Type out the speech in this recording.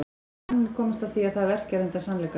Hann mun komast að því að það verkjar undan sannleikanum.